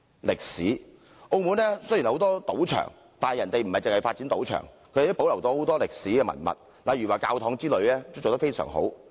歷史方面，澳門雖然有很多賭場，但當地不僅發展賭場，還保留了很多歷史文物，例如教堂等保育得非常好。